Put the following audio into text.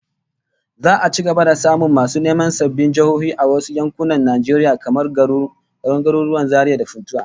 Za'a ci gaba da samun masu neman sabbin jihohi a wasu yankunan Najeriya, kamar garuruwan Zaria da Funtua